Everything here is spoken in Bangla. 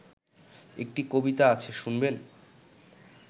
একটা কবিতা আছে শুনবেন